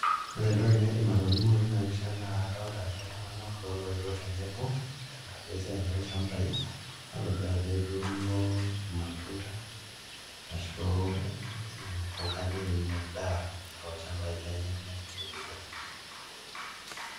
Ore entoki naaidim atolimu tina pisha naa kadolita ajo iltung'anak kulo looetuo tenebo tenakaraki esiaai olchambai atoduaa ajo etuuno irmatunda arashu mpuk, endaa netubuluta.